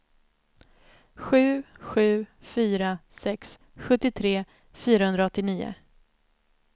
sju sju fyra sex sjuttiotre fyrahundraåttionio